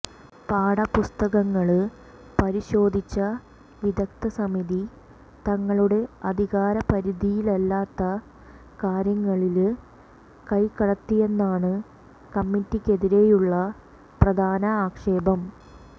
പാഠപുസ്തകങ്ങള് പരിശോധിച്ച വിദഗ്ധ സമിതി തങ്ങളുടെ അധികാര പരിധിയിലല്ലാത്ത കാര്യങ്ങളില് കൈക്കടത്തിയെന്നാണ് കമ്മിറ്റിക്കെതിരെയുള്ള പ്രധാന ആക്ഷേപം